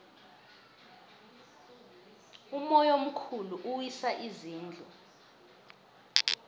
umoya omkhulu uwisa izindlu